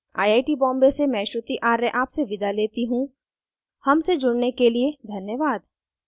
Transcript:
I I T Bombay से मैं श्रुति आर्य आपसे विदा लेती हूँ हमसे जुड़ने के लिए धन्यवाद